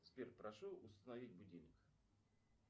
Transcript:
сбер прошу установить будильник